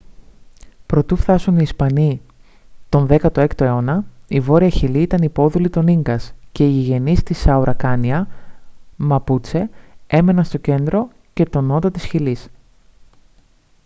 προτού φθάσουν οι ισπανοί τον 16 αιώνα η βόρεια χιλή ήταν υπόδουλη των ίνκας και οι γηγενείς της auracania μαπούτσε έμεναν στο κέντρο και τον νότο της χιλής